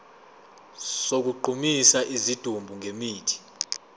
sokugqumisa isidumbu ngemithi